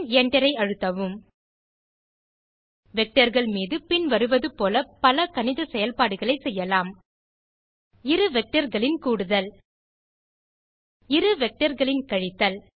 பின் Enter ஐ அழுத்தவும் vectorகள் மீது பின் வருவது போல பல கணித செயல்பாடுகளை செய்யலாம் இரு vectorகளின் கூடுதல் இரு vectorகளின் கழித்தல்